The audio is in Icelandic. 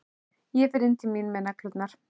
Ég fer inn til mín með neglurnar.